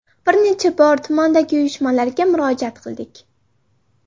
Bir necha bor tumandagi uyushmalarga murojaat qildik.